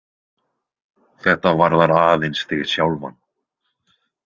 Þetta varðar aðeins þig sjálfan.